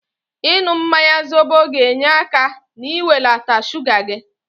Ịnụ mmanya zobo ga-enye aka n'iwelata shuga gị.